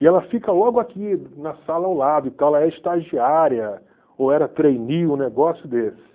E ela fica logo aqui na sala ao lado e tal, ela é estagiária, ou era trainee, um negócio desse.